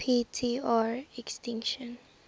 p tr extinction